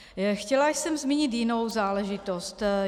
Chtěla jsem zmínit jinou záležitost.